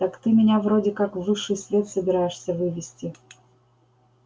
так ты меня вроде как в высший свет собираешься вывести